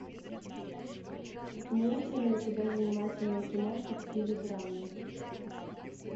имеется ли у тебя занимательная киношка в стиле драмы